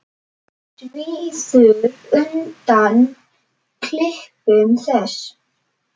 Svíður undan klipum þess.